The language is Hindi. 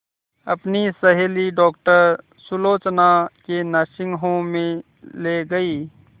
अपनी सहेली डॉक्टर सुलोचना के नर्सिंग होम में ली गई